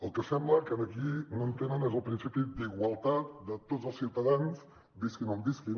el que sembla que aquí no entenen és el principi d’ igualtat de tots els ciutadans visquin on visquin